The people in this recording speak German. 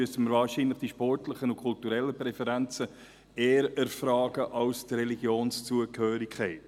Dann müssen wir wahrscheinlich die sportlichen und kulturellen Präferenzen eher erfragen als die Religionszugehörigkeit.